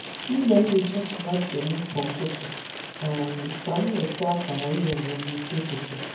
M na-enyocha tomato m kwa ụtụtụ um ka m nweta akara ire ere n'isi ụtụtụ.